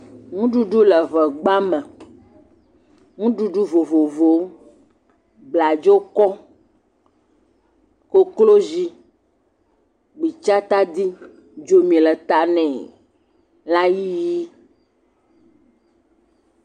Nuɖuɖu le ŋegba me, nuɖuɖu vovovowo, bladzokɔ, koklozi, gbitsa tadi, dzomi le ta nɛ, lãyiyi.